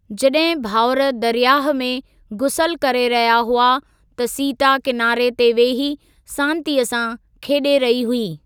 जॾहिं भाउर दरयाह में गुसल करे रहिया हुआ त सीता किनारे ते वही सांतिअ सां खेॾे रही हुई।